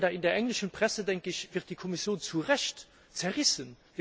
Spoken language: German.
In der englischen Presse wird die Kommission zu Recht zerrissen.